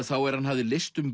þá er hann hafði leyst um